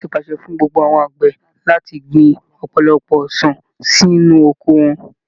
Ìjọba ti pàṣẹ fún gbogbo àwọn àgbẹ̀ láti gbin ọ̀pọ̀lọpọ̀ ọsàn sínú oko wọn